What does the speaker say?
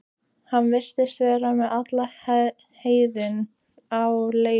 Hann virðist vera með alla heiðina á leigu.